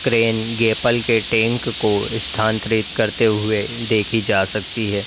Crane गेपल के tank को स्थानांतरित करते हुए देखी जा सकती है।